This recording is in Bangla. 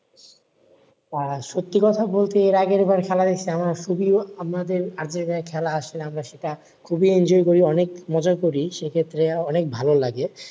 সত্যি কথা বলতে এর আগের বার খেলা দেখছি আমার খুবি আমাদের আগে যে খেলা আসলে আমরা সেটা খুবি enjoy করি মজা করি সে ক্ষেত্রে অনেক ভালো লাগে